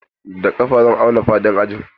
Da ƙafa zan auna faɗin ajin.